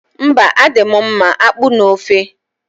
Mba, adị m mma akpu na ofe.